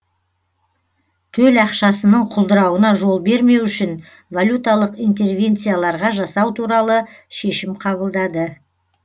төл ақшасының құлдырауына жол бермеу үшін валюталық интервенцияларға жасау туралы шешім қабылдады